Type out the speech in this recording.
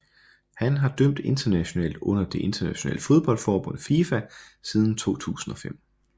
Han har dømt internationalt under det internationale fodboldforbund FIFA siden 2005